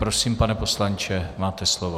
Prosím, pane poslanče, máte slovo.